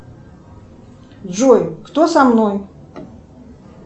джой кто со мной